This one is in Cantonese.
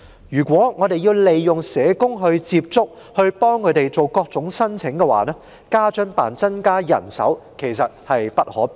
如果要透過社工接觸、幫助他們作出各種申請，家津辦增加人手實在無可避免。